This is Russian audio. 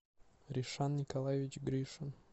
ришан николаевич гришин